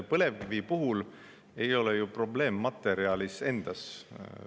Põlevkivi puhul ei ole ju probleem materjalis endas.